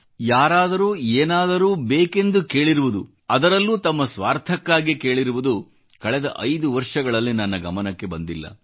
ಆದರೆ ಯಾರಾದರೂ ಏನಾದರೂ ಬೇಕೆಂದು ಕೇಳಿರುವುದು ಅದರಲ್ಲೂ ತಮ್ಮ ಸ್ವಾರ್ಥಕ್ಕಾಗಿ ಕೇಳಿರುವುದು ಕಳೆದ 5 ವರ್ಷಗಳಲ್ಲಿ ನನ್ನ ಗಮನಕ್ಕೆ ಬಂದಿಲ್ಲ